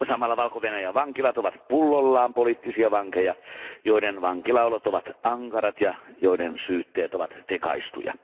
Samalla Valko Venäjän vankilat ovat pullollaan poliittisia vankeja, joiden vankilaolot ovat ankarat ja joiden syytteet ovat tekaistuja.